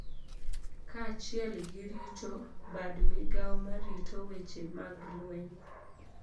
kaachiel gi rito bad migao ma rito weche mag lweny